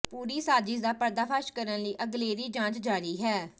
ਪੂਰੀ ਸਾਜਿਸ਼ ਦਾ ਪਰਦਾਫਾਸ਼ ਕਰਨ ਲਈ ਅਗਲੇਰੀ ਜਾਂਚ ਜਾਰੀ ਹੈ